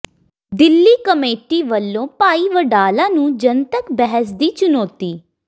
Delhi committee ਵਲੋਂ ਭਾਈ ਵਡਾਲਾ ਨੂੰ ਜਨਤਕ ਬਹਿਸ ਦੀ ਚੁਨੌਤੀ